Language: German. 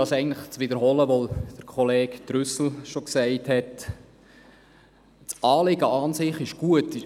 Das Anliegen, also quasi der grüne Ideologische Überbau an sich, ist gut.